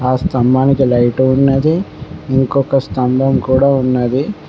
ఆ స్తంభానికి లైట్ ఉన్నది ఇంకొక స్తంభం కూడా ఉన్నది.